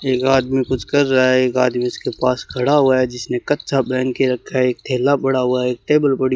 एक आदमी कुछ कर रहा है एक आदमी उसके पास खड़ा हुआ है जिसने कच्छा पहन के रखा है एक थैला पड़ा हुआ है टेबल पड़ी --